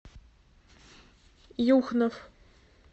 юхнов